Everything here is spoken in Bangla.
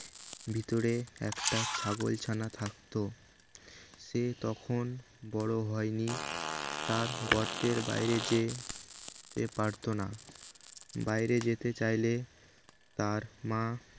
ভিতরে একটা ছাগলছানা থাকত সে তখন বড় হয়নি তার গর্তের বাইরে যেতে পারত না বাইরে যেতে চাইলে তার মা